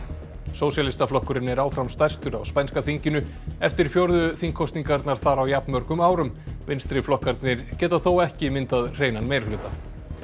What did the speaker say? sósíalistaflokkurinn er áfram stærstur á spænska þinginu eftir fjórðu þingkosningarnar þar á jafnmörgum árum vinstriflokkarnir geta þó ekki myndað hreinan meirihluta